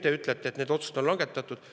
Te ütlete, et need otsused on langetatud.